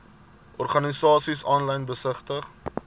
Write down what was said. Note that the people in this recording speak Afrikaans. organisasies aanlyn besigtig